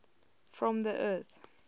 from the earth